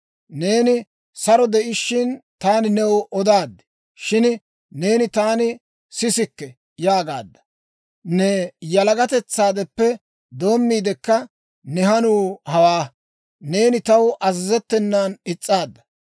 Neeni saro de'ishiina, taani new odaad; shin neeni, ‹Taani sisikke› yaagaadda. Ne yalagatetsaadeppe doommiidekka ne hanuu hawaa; neeni taw azazettenan is's'aadda.